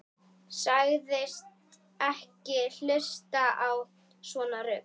Sagðist ekki hlusta á svona rugl.